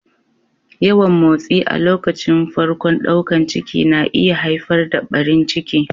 Yawan motsi a lokacin farkon daukan ciki na iya haifar da ɓarin ciki.